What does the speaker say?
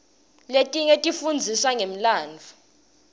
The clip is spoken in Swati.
letinye tifundzisa ngemlandvo